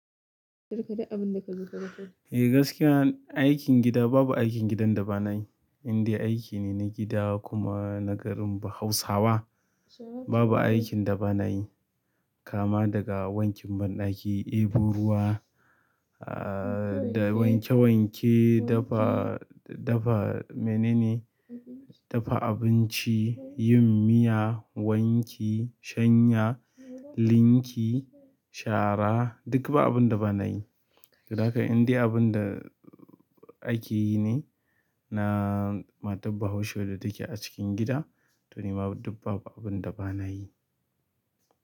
Ka rufe duk abinda dai ka dafa. Eh gaskiya aikin gida babu aikin gidan da ba na yi. In dai aiki ne na gida kuma na garin bahausawa babu aikin da bana yi. Kama daga wankin banɗaki, ɗebo ruwa, ahhh da wanke wanke, dafa, dafa mene ne, dafa abinci yin miya wanki sanya linki shara duk ba abinda banayi da haka indai abin da akeyi ne na matar bahaushe da take a cikin gida to ni ma duk babu abin da ba na yi.